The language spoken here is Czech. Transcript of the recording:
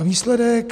A výsledek?